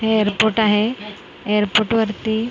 हे एअरपोर्ट आहे एअरपोर्ट वरती --